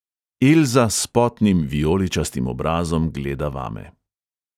Elza s potnim vijoličastim obrazom gleda vame.